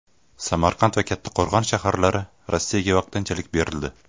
Samarqand va Kattqo‘rg‘on shaharlari Rossiyaga vaqtinchalik berildi.